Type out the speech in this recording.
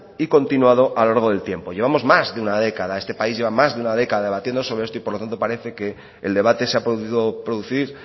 y continuado a lo largo del tiempo llevamos más de una década esta país lleva más de una década debatiendo sobre esto y por lo tanto parece que el debate se ha podido producir